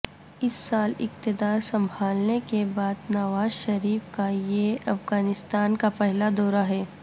اس سال اقتدار سنبھالنے کے بعد نواز شریف کا یہ افغانستان کا پہلا دورہ ہے